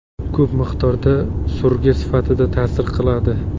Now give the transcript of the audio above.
Ko‘p miqdorda surgi sifatida ta’sir qiladi.